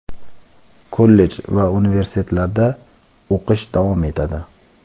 kollej va universitetlarda o‘qish davom etadi.